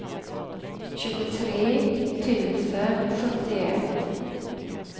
tjugotre tusen sjuttioett